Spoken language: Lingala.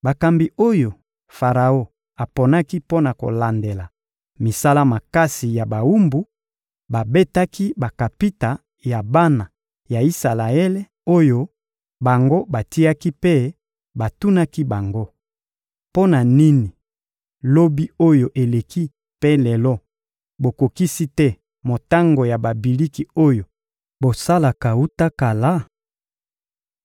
Bakambi oyo Faraon aponaki mpo na kolandela misala makasi ya bawumbu babetaki bakapita ya bana ya Isalaele oyo bango batiaki mpe batunaki bango: — Mpo na nini lobi oyo eleki mpe lelo bokokisi te motango ya babiliki oyo bosalaka wuta kala?